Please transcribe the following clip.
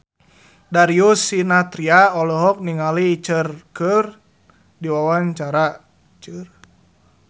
Darius Sinathrya olohok ningali Cher keur diwawancara